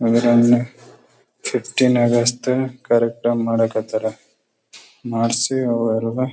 ಅವರೆಲ್ಲ ಕರೆಕ್ಟಾಗಿ ಮಾಡಕ್ ಹತ್ತಾರ ಮಾಡ್ಸಿ ಅವರೆಲ್ಲ.